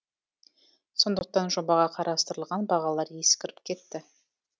сондықтан жобаға қарастырылған бағалар ескіріп кетті